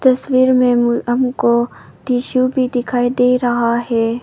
तस्वीर में मु हमको टिशू भी दिखाई दे रहा है।